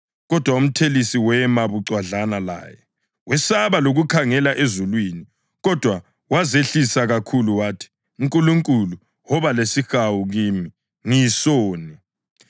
Kodwa umthelisi wema bucwadlana laye. Wesaba lokukhangela ezulwini kodwa wazehlisa kakhulu wathi, ‘Nkulunkulu, woba lesihawu kimi, ngiyisoni.’